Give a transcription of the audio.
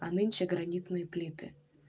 а нынче гранитные плиты